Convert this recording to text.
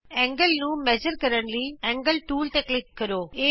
ਕੋਣ ਨੂੰ ਨਾਪਣ ਲਈ ਕੋਣ ਟੂਲ ਤੇ ਕਲਿਕ ਕਰੋ